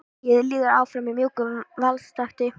Lagið líður áfram í mjúkum valstakti.